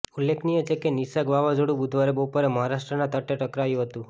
ઉલ્લેખનીય છે કે નિસર્ગ વાવાઝોડુ બુધવારે બપોરે મહારાષ્ટ્રના તટે ટકરાયુ હતુ